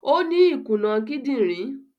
Ọ ni ikunà kìdìnrin.